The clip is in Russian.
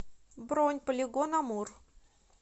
бронь полигон амур